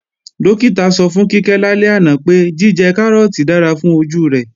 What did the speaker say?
Dókítà sọ fún Kíkẹ́ lálẹ́ àná pé, jíjẹ Kárọ́ọ̀tì dára fún ojú rẹ̀